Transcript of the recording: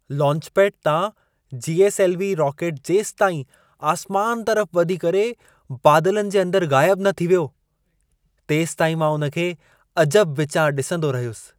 Launchpad तां GSLV. Rocket जेसिताईं आसमान तरफ वधी करे, बादलनि जे अंदर ग़ाइब न थियो, तेसिताईं मां उन खे अजबु विचां ॾिसंदो रहियुसि।